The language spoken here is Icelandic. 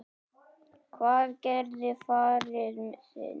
Hvað gerði faðir þinn?